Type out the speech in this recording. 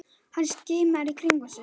Hann skimar í kringum sig.